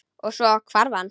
Og- svo hvarf hann.